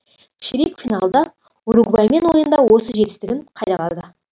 ширек финалда уругваймен ойында осы жетістігін қайталады